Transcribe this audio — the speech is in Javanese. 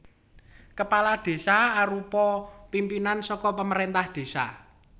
Kepala Desa arupa pimpinan saka pamarèntah désa